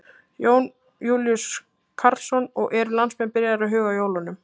Jón Júlíus Karlsson: Og eru landsmenn byrjaðir að huga að jólunum?